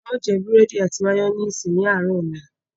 A ó jẹ búrẹ́dì àti màyónésì ní àárọ̀ ọ̀la